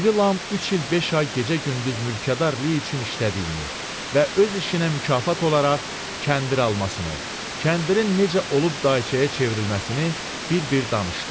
İri Lam üç il beş ay gecə-gündüz mülkədarlıq üçün işlədiyini və öz işinə mükafat olaraq kəndir almasını, kəndirin necə olub dayçaya çevrilməsini bir-bir danışdı.